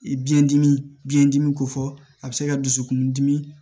Biyɛn dimi biyɛndimi kofɔ a bɛ se ka dusukundimi